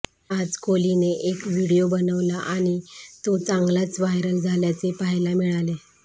आज कोहलीने एक व्हिडीओ बनवला आणि तो चांगलाच व्हायरल झाल्याचे पाहायला मिळाले